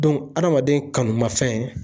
adamaden kanumafɛn